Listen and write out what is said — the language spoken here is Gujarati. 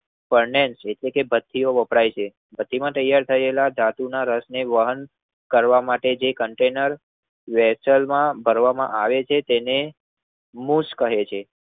પરણે એકોતેર બતીઓ વપરાય છે. બતીમાં તૈયાર થયેલા ધાતુના રસને વાહન કરવા માટે જે કન્ટેનર વેર્ષેલમાં કરવામાં આવે છે તેને મુસ્ક કહે છે.